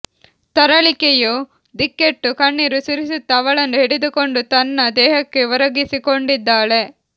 ತರಳಿಕೆಯು ದಿಕ್ಕೆಟ್ಟು ಕಣ್ಣೀರು ಸುರಿಸುತ್ತಾ ಅವಳನ್ನು ಹಿಡಿದುಕೊಂಡು ತನ್ನ ದೇಹಕ್ಕೆ ಒರಗಿಸಿಕೊಂಡಿದ್ದಾಳೆ